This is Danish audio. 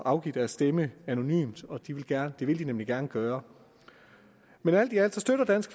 afgive deres stemme anonymt det vil de nemlig gerne gøre men alt i alt støtter dansk